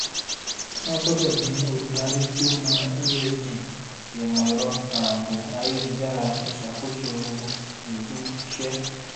wọn gbọdọ ní olùdarí tí ó mọ esg ìmọ ẹrọ ààbò ayélujára ìṣàkóso èwù ìlúìṣẹ